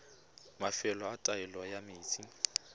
mafelo a taolo ya metsi